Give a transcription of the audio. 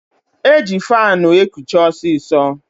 E ji faanụ ekuche ọsịsọ.